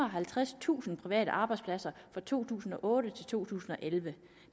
og halvtredstusind private arbejdspladser fra to tusind og otte til to tusind og elleve